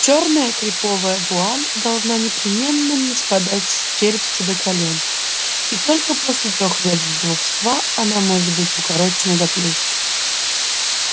чёрная креповая вуаль должна непременно ниспадать с черепца до колен и только после трёх лет вдовства она может быть укорочена до плеч